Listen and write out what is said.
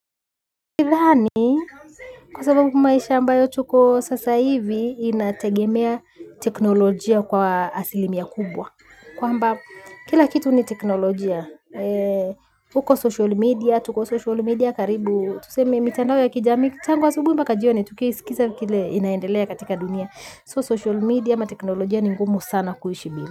Nikiidhani kwa sababu maisha ambayo tuko sasa hivi inategemea teknolojia kwa asilimia kubwa. Kwamba kila kitu ni teknolojia huko social media, tuko social media karibu tuseme mitandao ya kijamii, tangu asubuhi mpaka jioni, tukisikiza kile inaendelea katika dunia So social media ama teknolojia ni ngumu sana kuishi bila.